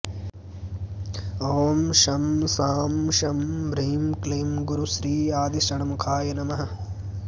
ॐ शं शां षं ह्रीं क्लीं गुरुश्री आदिषण्मुखाय नमः